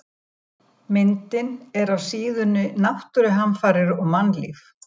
Myndin er af síðunni Náttúruhamfarir og mannlíf.